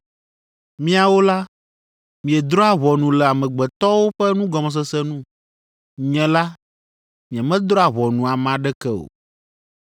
Miawo la, miedrɔ̃a ʋɔnu le amegbetɔwo ƒe nugɔmesese nu. Nye la, nyemedrɔ̃a ʋɔnu ame aɖeke o.